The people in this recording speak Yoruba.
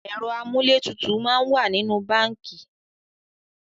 Ẹ̀rọ amúlétutù máa ń wà nínú báńkì